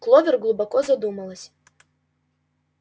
кловер глубоко задумалась